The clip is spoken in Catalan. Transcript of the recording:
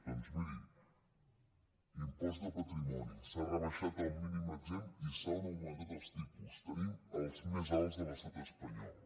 doncs miri impost de patrimoni s’ha rebaixat el mínim exempt i s’han augmentat els tipus tenim els més alts de l’estat espanyol